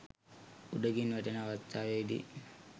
උඩකින් වැටෙන අවස්ථාවේදී